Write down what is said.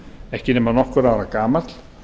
ekki nema nokkurra ára gamall